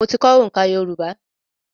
Mo ti kọ́ oǹká Yorùbá.